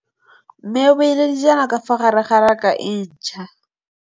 Mmê o beile dijana ka fa gare ga raka e ntšha.